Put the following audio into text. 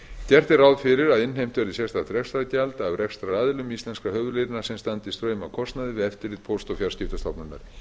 gert er ráð fyrir að innheimt verði sérstakt rekstrargjald af rekstraraðilum íslenskra höfuðléna sem standi fram af kostnaði við eftirlit póst og fjarskiptastofnunar